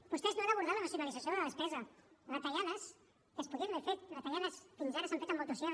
vostès no han abordat la racionalització de la despesa retallades que es podien haver fet retallades que fins ara s’han fet amb motoserra